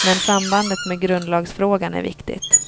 men sambandet med grundlagsfrågan är viktigt.